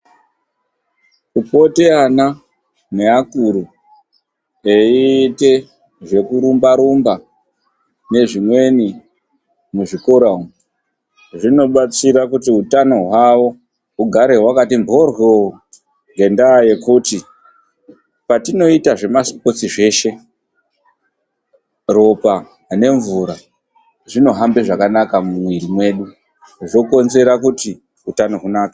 Kupota ana neakuru eita zvekurumba nezvimweni muzvikora umu zvinobatsira kuti utano hwavo ugare wakati mboryoo ngenda yekuti patinoita zvemasipotsi zveshe ropa ngemvura zvinohamba zvakanaka mumwiri mwedu zvokonzera kuti utano hunake.